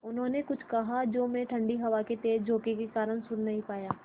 उन्होंने कुछ कहा जो मैं ठण्डी हवा के तेज़ झोंके के कारण सुन नहीं पाया